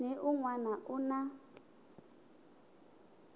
ni un wana u na